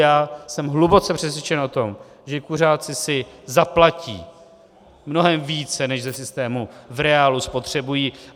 Já jsem hluboce přesvědčen o tom, že kuřáci si zaplatí mnohem více, než ze systému v reálu spotřebují.